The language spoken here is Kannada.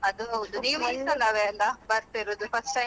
ಅದ್ ಹೌದು ನೀವು ಸಲವೇ ಅಲ್ವ ಬರ್ತಿರುದು first time ಅಂತ ಅಲ್ಲಾ?